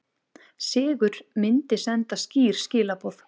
Sigur myndi senda skýr skilaboð